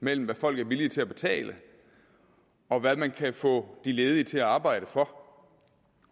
mellem hvad folk er villige til at betale og hvad man kan få de ledige til at arbejde for